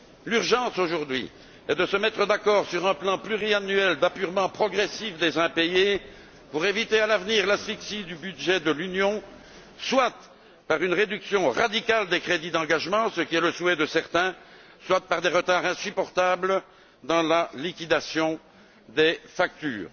L'urgence, aujourd'hui, c'est de se mettre d'accord sur un plan pluriannuel d'apurement progressif des impayés pour éviter à l'avenir l'asphyxie du budget de l'Union, soit par une réduction radicale des crédits d'engagement, ce qui est le souhait de certains, soit par des retards insupportables dans la liquidation des factures.